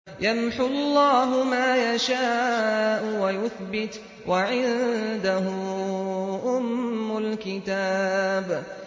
يَمْحُو اللَّهُ مَا يَشَاءُ وَيُثْبِتُ ۖ وَعِندَهُ أُمُّ الْكِتَابِ